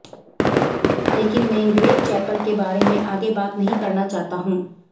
लेकिन मैं Greg Chappell के बारे में आगे बात नहीं करना चाहता हूं